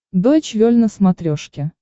дойч вель на смотрешке